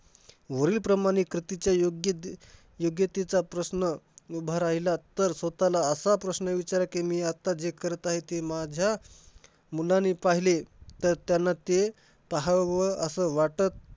वरील प्रमाणे कथेच्या योग्यते~ योग्यतेचा प्रश्न उभा राहिला तर स्वतःला असा प्रश्न विचार कि मी आता जे करत आहे ते माझ्या मुलांनी पहिले तर त्यांना ते पाहावं असं वाटत